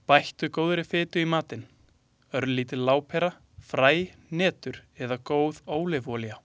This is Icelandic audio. Bættu góðri fitu í matinn; örlítil lárpera, fræ, hnetur eða góð ólífuolía.